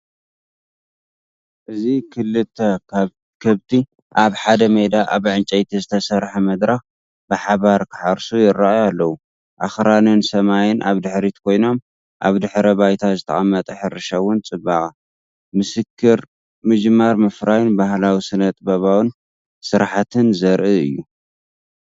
እዚ ክልተ ከብቲ ኣብ ሓደ ሜዳ ኣብ ዕንጨይቲ ዝተሰርሐ መድረኽ ብሓባር ክሓርሱ ይራአዩ ኣለው። ኣኽራንን ሰማይን ኣብ ድሕሪት ኮይኖም፡ ኣብ ድሕረ ባይታ ዝተቐመጠ ሕርሻዊ ጽባቐ። ምስክር ምጅማር ምፍራይን ባህላዊ ስነ-ጥበባዊ ስርሓትን ዘርኢ እዩ።